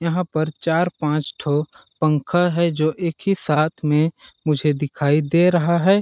यहाँ पर चार पांच ठो पंखा है जो एक ही साथ में मुझे दिखाई दे रहा है।